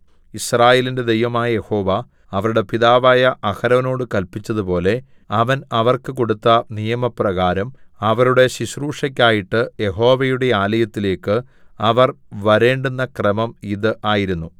യിസ്രായേലിന്റെ ദൈവമായ യഹോവ അവരുടെ പിതാവായ അഹരോനോടു കല്പിച്ചതുപോലെ അവൻ അവർക്ക് കൊടുത്ത നിയമപ്രകാരം അവരുടെ ശുശ്രൂഷെക്കായിട്ടു യഹോവയുടെ ആലയത്തിലേക്കു അവർ വരേണ്ടുന്ന ക്രമം ഇതു ആയിരുന്നു